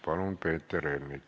Palun, Peeter Ernits!